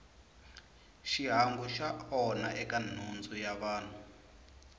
xihangu xi onha eka nhundzu ya vanhu